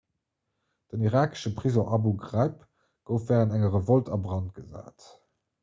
den irakesche prisong abu ghraib gouf wärend enger revolt a brand gesat